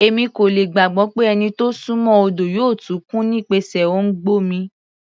Èmi kò lè gbàgbọ́ pé ẹni tó súnmọ́ odo yóò tún kú nípasẹ̀ òǹgbẹ omi.